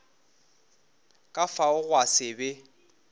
ka fao gwa se be